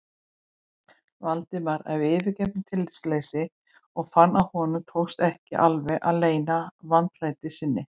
Valdimar af yfirveguðu tillitsleysi og fann að honum tókst ekki alveg að leyna vandlætingu sinni.